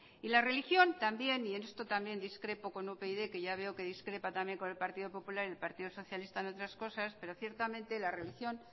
y la religión también y en esto también discrepo con upyd que ya veo que discrepa también con el partido popular y el partido socialista en otras cosas pero ciertamente la religión